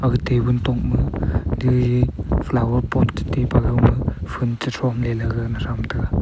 aga tabon tokma jaji ji flower pot chi tai pa ga ma phun chi thomley ley gana tham taga.